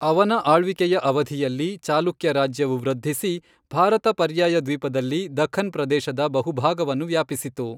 ಅವನ ಆಳ್ವಿಕೆಯ ಅವಧಿಯಲ್ಲಿ, ಚಾಲುಕ್ಯ ರಾಜ್ಯವು ವೃದ್ಧಿಸಿ, ಭಾರತ ಪರ್ಯಾಯ ದ್ವೀಪದಲ್ಲಿ ದಖ್ಖನ್ ಪ್ರದೇಶದ ಬಹುಭಾಗವನ್ನು ವ್ಯಾಪಿಸಿತು.